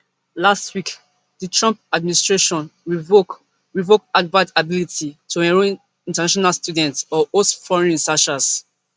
last week di trump administration revoke revoke harvard ability to enrol international students or host foreign researchers